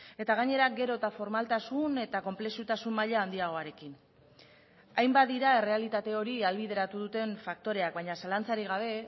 eta gainera gero eta formaltasun eta konplexutasun maila handiagoarekin hainbat dira errealitate hori ahalbideratu duten faktoreak baina zalantzarik gabe